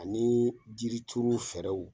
Ani jirituru fɛrɛw